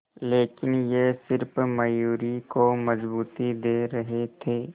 लेकिन ये सिर्फ मयूरी को मजबूती दे रहे थे